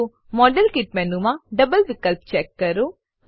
તો મોડેલકીટ મેનુમાં ડબલ વિકલ્પ ચેક કરો